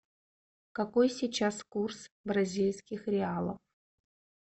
какой сейчас курс бразильских реалов